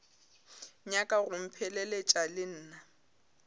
nyaka go mpheleletša le nna